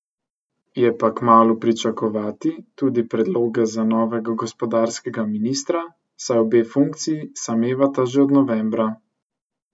Je pa kmalu pričakovati tudi predloge za novega gospodarskega ministra, saj obe funkciji samevata že od novembra.